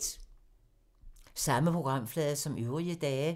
Samme programflade som øvrige dage